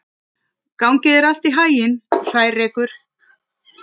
Gangi þér allt í haginn, Hrærekur.